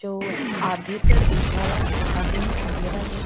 जो आधे पर उजाला है आधे में अंधेरा है।